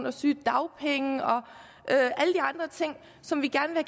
og sygedagpenge og og som vi gerne